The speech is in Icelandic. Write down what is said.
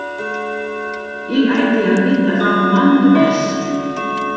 Ég ætti að vita það manna best.